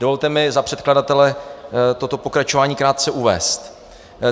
Dovolte mi za předkladatele toto pokračování krátce uvést.